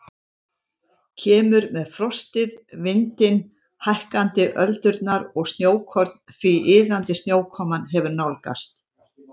Kemur með frostið, vindinn, hækkandi öldurnar og snjókorn því iðandi snjókoman hefur nálgast.